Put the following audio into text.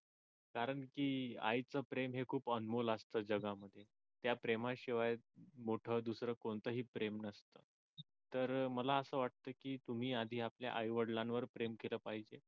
कारण कि आईच प्रेम हे खूप अनमोल असत जगामध्ये त्या प्रेमाशिवाय मोठं दुसरं कोणतंही प्रेम नसत तर मला असं वाटत की तुम्ही आधी आपल्या आई वडिलांवरती प्रेम केलं पाहिजे.